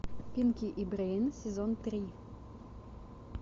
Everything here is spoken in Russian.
пинки и брейн сезон три